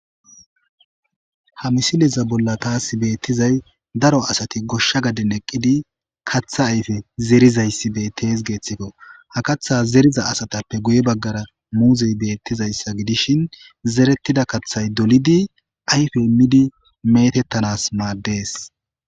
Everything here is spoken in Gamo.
Ha misileza bolla taas beettizay daro asati goshsha gaden eqqidi kaththa ayfe zerizayssi be tees geeththifo ha katha zeriza asatappe guye baggara muuzey beettizayssa gidishin zerettida kaththay dolidi ayfe imidi metettanas maaddees